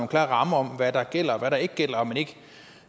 klare rammer for hvad der gælder og hvad der ikke gælder